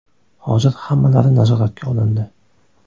Hozir hammalari nazoratga olindi.